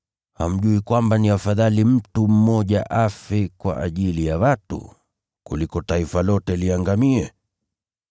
Hamjui kwamba ni afadhali mtu mmoja afe kwa ajili ya watu, kuliko taifa lote liangamie?”